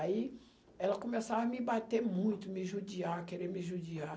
Aí, ela começava a me bater muito, me judiar, querer me judiar.